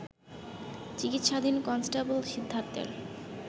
চিকিৎসাধীন কনস্টেবল সিদ্ধার্থের